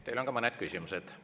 Teile on ka mõned küsimused.